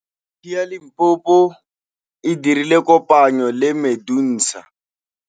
Yunibesiti ya Limpopo e dirile kopanyô le MEDUNSA.